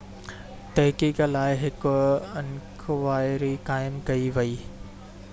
تحقيق لاءِ هڪ انڪوائري قائم ڪئي وئي